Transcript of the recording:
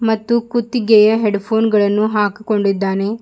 ಮತ್ತು ಕುತ್ತಿಗೆಯ ಹೆಡ್ಫೋನ್ ಗಳನ್ನು ಹಾಕಿಕೊಂಡಿದ್ದಾನೆ.